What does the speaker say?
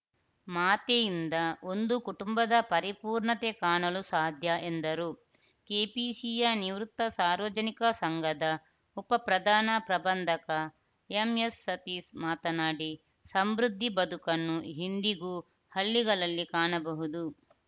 ಮಾತೆಯಿಂದ ಒಂದು ಕುಟುಂಬದ ಪರಿಪೂರ್ಣತೆ ಕಾಣಲು ಸಾಧ್ಯ ಎಂದರು ಕೆಪಿಸಿಯ ನಿವೃತ್ತ ಸಾರ್ವಜನಿಕ ಸಂಘದ ಉಪಪ್ರಧಾನ ಪ್ರಬಂಧಕ ಎಮ್‌ಎಸ್‌ಸತೀಶ್‌ ಮಾತನಾಡಿ ಸಮೃದ್ಧಿ ಬದುಕನ್ನು ಇಂದಿಗೂ ಹಳ್ಳಿಗಳಲ್ಲಿ ಕಾಣಬಹುದು